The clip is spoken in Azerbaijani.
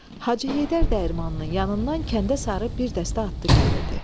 Hacı Heydər dəyirmanının yanından kəndə sarı bir dəstə atlı gəlirdi.